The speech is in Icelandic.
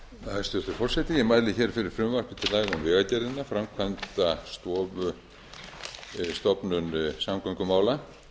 forseti ég mæli hér fyrir frumvarpi til laga um vegagerðina framkvæmdastofnun samgöngumála